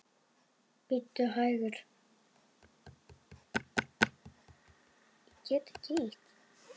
Bíddu hægur.